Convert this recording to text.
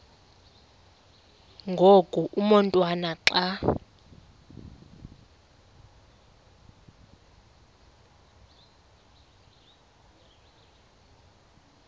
ngoku umotwana xa